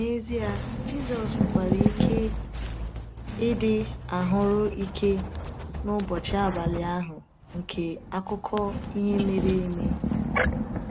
N’ezie, Jisọs nwekwara ike ịdị ahụ́rụ ike n’ụbọchị abalị ahụ nke akụkọ ihe mere eme.